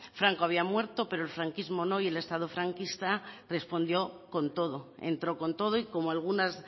franco había muerto pero el franquismo no y el estado franquista respondió con todo entró con todo y como algunas